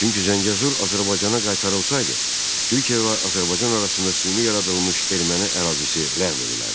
Çünki Zəngəzur Azərbaycana qaytarılsaydı, Türkiyə və Azərbaycan arasında süni yaradılmış erməni ərazisi ləğv edilərdi.